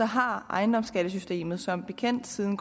har ejendomsskattesystemet som bekendt siden